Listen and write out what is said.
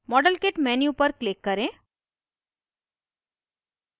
modelkit menu पर click करें